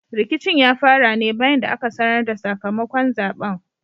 Rikicin ya fara ne bayan da aka sanar da sakamakon zaɓen.